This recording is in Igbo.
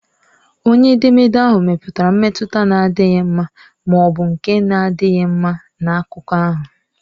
Onye edemede ahụ mepụtara mmetụta na-adịghị mma ma ọ bụ nke na-adịghị mma na akụkọ ahụ.